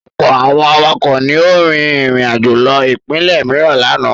Ọ̀pọ̀ àwọn awakọ̀ ni ó rin ìrìnàjò lọ ìpínlẹ̀ mìíràn lánàá.